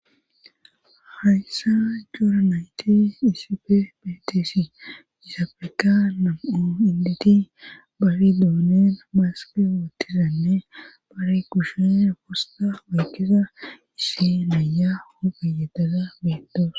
Hayssa joora nayti isife beeteesi isafeka nam7o inditi bari doonen maaske wootiranne baare kushe fosta weykkisa issi naya hogayadaza beittoosona.